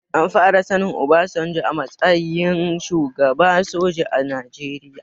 An fara sanin obasanjo a matsayin shugaba soja a najeria